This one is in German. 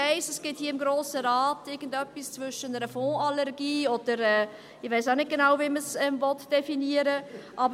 Ich weiss: Es gibt hier im Grossen Rat irgendetwas zwischen einer Fondsallergie und etwas, von dem ich auch nicht genau weiss, wie man es definieren will.